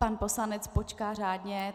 Pan poslanec počká řádně...